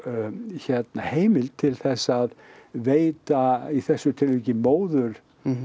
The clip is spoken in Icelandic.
hérna heimild til þess að veita í þessu tilviki móður